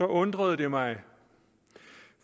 undrede jeg mig